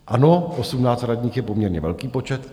Ano, 18 radních je poměrně velký počet.